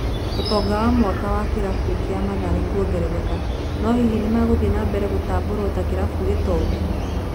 Ũtonga wa mwaka wa kĩrabũ kĩa mathare kũongerereka, no hihi nĩmegũthie na mbere gũtabũrwo ta kirabũ gĩtongu.